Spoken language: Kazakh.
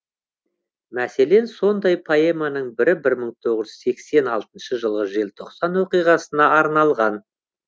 мәселен сондай поэманың бірі бір мың тоғыз жүз сексен алтыншы жылғы желтоқсан оқиғасына арналған